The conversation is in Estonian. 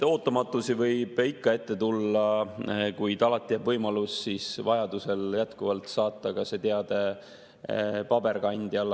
Ootamatusi võib ikka ette tulla, kuid alati jääb võimalus vajaduse korral jätkuvalt saata see teade paberkandjal.